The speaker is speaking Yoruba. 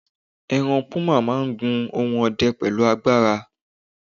eran puma ma n gun ohun ọdẹ pẹlu agbara